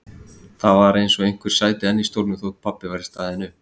Það var eins og einhver sæti enn í stólnum þótt pabbi væri staðinn upp.